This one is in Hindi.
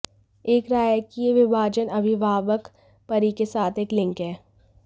एक राय है कि यह विभाजन अभिभावक परी के साथ एक लिंक है